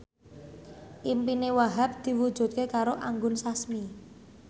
impine Wahhab diwujudke karo Anggun Sasmi